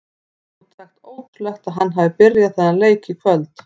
Hreint út sagt ótrúlegt að hann hafi byrjað þennan leik í kvöld.